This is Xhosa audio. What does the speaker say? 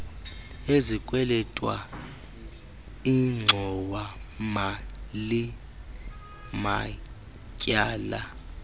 ezikwelitwa ingxowamali matyala